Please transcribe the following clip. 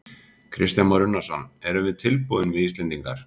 Kristján Már Unnarsson: Erum við tilbúin við Íslendingar?